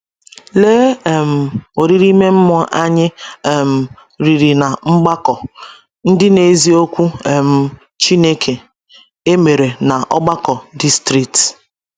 Lee um oriri ime mmụọ anyị um riri ná Mgbakọ “ Ndị Na - ezi Okwu um Chineke ” emere na Ọgbakọ Distrịtị!